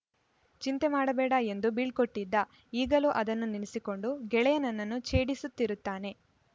ಚಿಂತೆ ಮಾಡಬೇಡ ಎಂದು ಬೀಳ್ಕೊಟ್ಟಿದ್ದ ಈಗಲೂ ಅದನ್ನು ನೆನೆಸಿಕೊಂಡು ಗೆಳೆಯ ನನ್ನನ್ನು ಛೇಡಿಸುತ್ತಿರುತ್ತಾನೆ